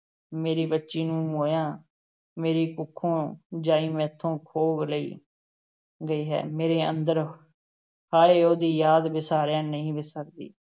ਮੇਰੀ ਬੱਚੀ ਨੂੰ ਮੋਇਆਂ, ਮੇਰੀ ਕੁੱਖੋਂ ਜਾਈ ਮੈਥੋਂ ਖੋਹ ਲਈ ਗਈ ਹੈ, ਮੇਰੇ ਅੰਦਰ ਹਾਏ ਉਹਦੀ ਯਾਦ ਵਿਸਾਰਿਆਂ ਨਹੀਂ ਵਿਸਰਦੀ।